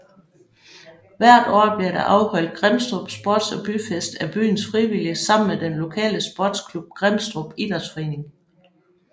Hvert år bliver der afholdt Grimstrup Sports og Byfest af byens frivillige sammen med den lokale sportsklub Grimstrup Idrætsforening